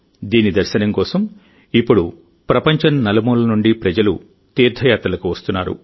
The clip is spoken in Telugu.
దీని దర్శనం కోసం ఇప్పుడు ప్రపంచం నలుమూలల నుండి ప్రజలు తీర్థయాత్రలకు వస్తున్నారు